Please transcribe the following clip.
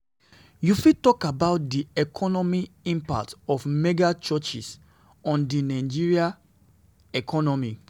You fit talk about di economic impact of mega-churches on di Nigerian economy.